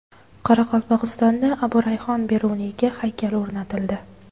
Qoraqalpog‘istonda Abu Rayhon Beruniyga haykal o‘rnatildi.